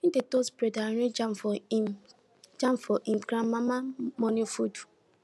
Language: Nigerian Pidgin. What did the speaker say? e dey toast bread and arrange jam for him jam for him grandmama morning food